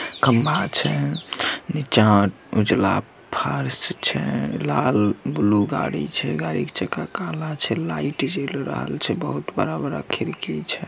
खंबा छै नीचा उजला फर्स छै लाल ब्लू गाड़ी छै गाड़ी का चक्का काला छै लाइट जयेल रहल छै बहुत बड़ा-बड़ा खिड़की छै।